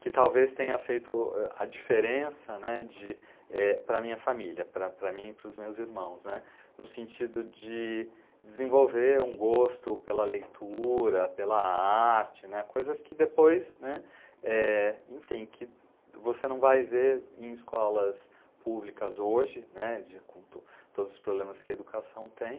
que talvez tenha feito a diferença né, de, para minha família, para mim e para os meus irmãos, no sentido de desenvolver um gosto pela leitura, pela arte, né, coisas que depois, né, você não vai ver em escolas públicas hoje, né, com todos os problemas que a educação tem.